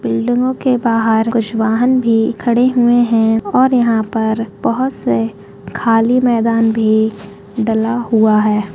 बिल्डिगों के बाहर कुछ वाहन भी खड़े हुए है और यहाँ पर बहुत से खाली मैदान भी डला हुआ है।